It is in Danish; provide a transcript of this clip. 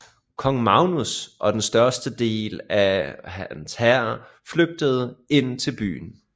Kong Magnus og den største del av hans hær flygtede ind til byen